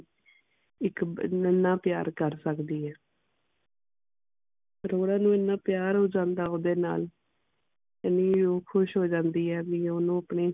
ਇਕ ਇੰਨਾ ਪਿਆਰ ਕਰ ਸਕਦੀ ਹੈ ਅਰੋੜਾ ਨੂੰ ਇੰਨਾ ਪਿਆਰ ਹੋ ਜਾਂਦਾ ਓਦੇ ਨਾਲ ਵੀ ਉਹ ਖੁਸ਼ ਹੋ ਜਾਂਦੀ ਹੈ ਵੀ ਉਹ ਓਹਨੂੰ ਆਪਣੀ